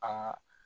An ka